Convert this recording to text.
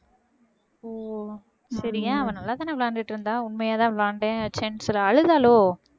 ஓ சரி ஏன் அவ நல்லாதானே விளையாண்டுட்டு இருந்தா உண்மையாதான் விளையாண்டேன் chance அழுதாளோ